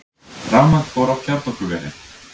Rafmagn fór af kjarnorkuveri